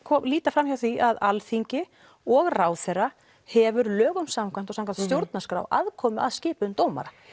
líta fram hjá því að Alþingi og ráðherra hefur lögum samkvæmt og samkvæmt stjórnarskrá aðkomu að skipun dómara